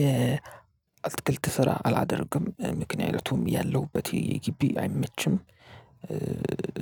የአትክልት ስራ አላደርግም ምክንያቱም ያለሁበት የጊቢ አይመችም